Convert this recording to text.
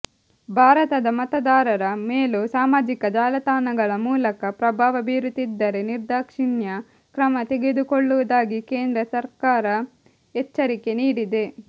ಭಾರತದ ಮತದಾರರ ಮೇಲೂ ಸಾಮಾಜಿಕ ಜಾಲತಾಣಗಳ ಮೂಲಕ ಪ್ರಭಾವ ಬೀರುತ್ತಿದ್ದರೆ ನಿರ್ದಾಕ್ಷಿಣ್ಯ ಕ್ರಮ ತೆಗೆದುಕೊಳ್ಳುವುದಾಗಿ ಕೇಂದ್ರ ಸರಕಾರ ಎಚ್ಚರಿಕೆ ನೀಡಿದೆ